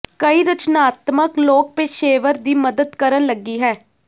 ਕਈ ਰਚਨਾਤਮਕ ਲੋਕ ਪੇਸ਼ੇਵਰ ਦੀ ਮਦਦ ਕਰਨ ਲੱਗੀ ਹੈ